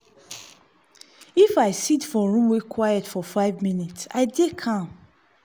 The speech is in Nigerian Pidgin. if i sit for room wey quiet for five minute i dey calm.